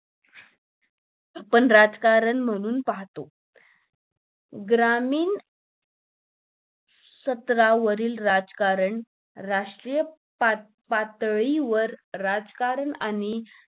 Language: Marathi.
आपण राजकारण म्हणून पाहतो ग्रामीण स्तरावरील राजकारण राष्ट्रीय पातळी वर राजकारण आणि